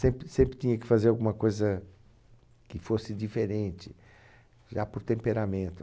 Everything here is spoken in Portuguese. Sempre , sempre tinha que fazer alguma coisa que fosse diferente, já por temperamento.